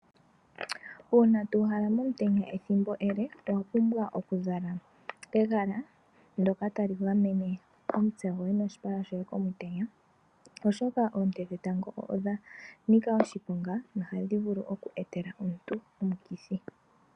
Uuna to uhala momutenya ethimbo ele owapumbwa okuzala egala ndoka tali gamene omutse goye noshipala shoye komutenya, oshoka oonte dhetango odha nika oshiponga notadhi vulu oku etela oshipa shoye omikithi.